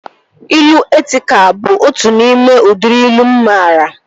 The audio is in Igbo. Ilu etịkal bụ otu n'ime udịri ilu mụ maara